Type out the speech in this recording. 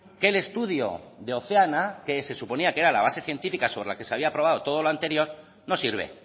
que el estudio de oceana que se suponía que era la base científica sobre lo que se había aprobado todo lo anterior no sirve